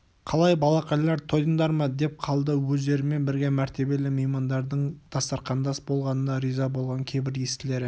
қалай балақайлар тойдыңдар ма деп қалды өздерімен бірге мәртебелі меймандардың дастарқандас болғанына риза болған кейбір естілері